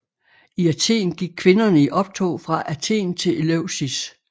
I Athen gik kvinderne i optog fra Athen til Eleusis